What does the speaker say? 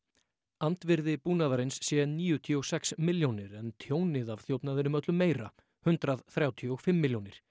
andvirði búnaðarins sé níutíu og sex milljónir en tjónið af þjófnaðinum öllu meira hundrað þrjátíu og fimm milljónir